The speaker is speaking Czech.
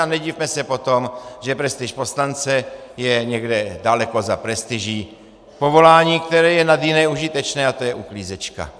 A nedivme se potom, že prestiž poslance je někde daleko za prestiží povolání, které je nad jiné užitečné, a to je uklízečka.